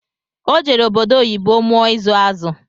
O jere obodo oyibo mụọ ịzụ azụ